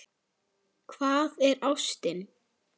Hvað er ástin?